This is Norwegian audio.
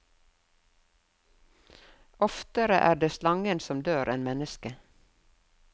Oftere er det slangen som dør enn mennesket.